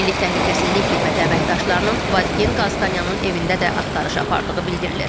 Milli Təhlükəsizlik Xidməti əməkdaşlarının Vazgen Qalstanyanın evində də axtarış apardığı bildirilir.